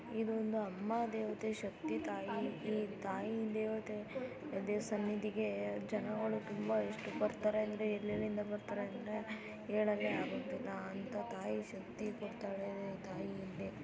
ಇದು ಒಂದು ಅಮ್ಮ ದೇವತೆ ಶಕ್ತಿ ತಾಯಿ ಈ ತಾಯಿ ಇಲ್ದೆ ಹೋದ್ರೆ ದೇವ್ರ್ ಸನ್ನಿದಿಗೆ ಜನಗಳು ತುಂಬಾ ಎಷ್ಟು ಬರ್ತಾರೆ ಅಂದ್ರೆ ಎಲ್ಲಿಲ್ಲಿಂದ ಬರ್ತರೆ ಅಂದ್ರೆ ಹೇಳಲೆ ಆಗುವುದಿಲ್ಲಅಂತ ತಾಯಿ ಶಕ್ತಿ ಕೋಡ್ತಾಳೆ ತಾಯಿ ಇಲ್ದೆ--